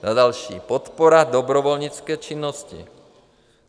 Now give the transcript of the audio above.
Za další - podpora dobrovolnické činnosti.